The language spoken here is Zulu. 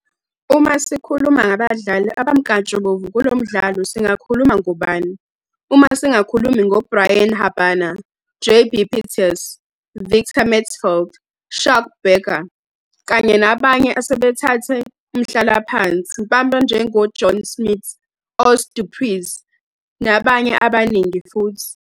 Uma sikhuluma ngabadlali abamkantshubomvu kulomdlalo singakhuluma ngobani uma singakhulumi ngo Brian Habana, JB Pieterse, Victor Matfield, Schalk Burger, kanye nabanye asebathatha umhlala phansi abanjengo John Smit, Os Du Preez nabanye abaningi futhi.